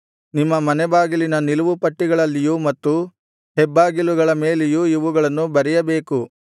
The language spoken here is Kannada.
ನಿಮ್ಮ ಮನೆ ಬಾಗಿಲಿನ ನಿಲುವುಪಟ್ಟಿಗಳಲ್ಲಿಯೂ ಮತ್ತು ಹೆಬ್ಬಾಗಿಲುಗಳ ಮೇಲೆಯೂ ಇವುಗಳನ್ನು ಬರೆಯಬೇಕು